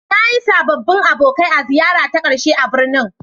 Na yi sababbin abokai a ziyarara ta ƙarshe a birnin.